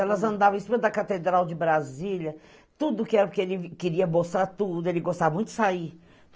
Elas andavam em cima da Catedral de Brasília, tudo que era porque ele queria mostrar tudo, ele gostava muito de sair.